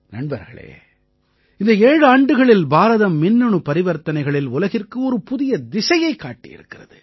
நண்பர்களே இந்த ஏழாண்டுகளில் பாரதம் மின்னணு பரிவர்த்தனைகளில் உலகிற்கு ஒரு புதிய திசையைக் காட்டியிருக்கிறது